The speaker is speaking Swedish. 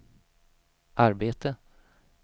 arbete